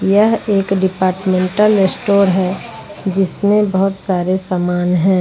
यह एक departmental store है जिसमें बहुत सारे सामान है।